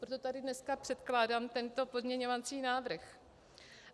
Proto tady dneska předkládám tento pozměňovací návrh.